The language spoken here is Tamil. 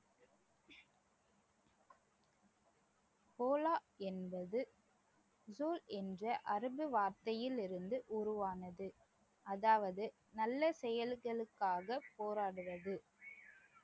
ஓலா என்பது என்ற அரபு வார்த்தையில் இருந்து உருவானது அதாவது நல்ல செயல்களுக்காக போராடுவது